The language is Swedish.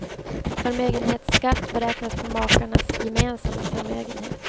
Förmögenhetsskatt beräknas på makarnas gemensamma förmögenhet.